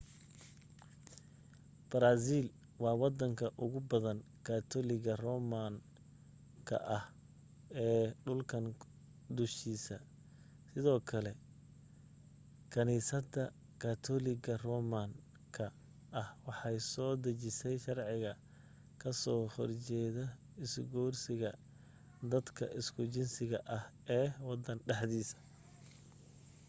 brazil waa wadanka ugu badan katoliga roman ka ah ee dhulkan dushiisa sidoo kale kaniisada katoliga roman ka ah waxay soo dejisay sharciga ka soo horjeeda isguursiga dadka isku jinsiga ah ee wadan dhexdiisa